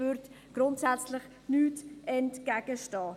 Dem stünde grundsätzlich nichts entgegen.